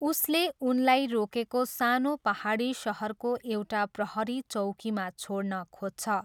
उसले उनलाई रोकेको सानो पाहाडी सहरको एउटा प्रहरी चौकीमा छोड्न खोज्छ।